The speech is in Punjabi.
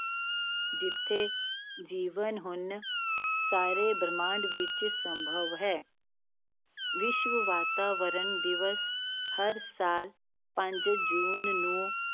ਜਿੱਥੇ ਜੀਵਨ ਹੁਣ ਸਾਰੇ ਬ੍ਰਹਿਮੰਡ ਵਿੱਚ ਸੰਭਵ ਹੈ ਵਿਸ਼ਵ ਵਾਤਾਵਰਣ ਦਿਵਸ ਹਰ ਸਾਲ ਪੰਜ ਜੂਨ ਨੂੰ,